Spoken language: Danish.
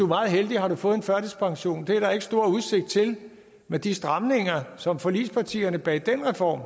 meget heldig har du fået førtidspension og det er der ikke stor udsigt til med de stramninger som forligspartierne bag den reform